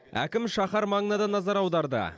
әкім шаһар маңына да назар аударды